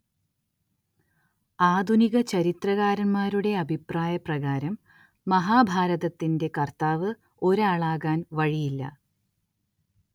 ആധുനിക ചരിത്രകാരന്മാരുടെ അഭിപ്രായപ്രകാരം മഹാഭാരതത്തിന്റെ കർത്താവ്‌ ഒരാളാകാൻ വഴിയില്ല.